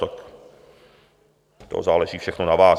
Tak to záleží všechno na vás.